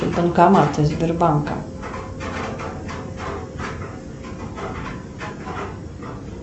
банкоматы сбербанка